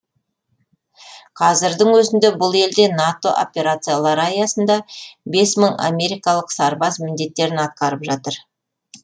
қазірдің өзінде бұл елде нато операциялары аясында бес мың америкалық сарбаз міндеттерін атқарып жатыр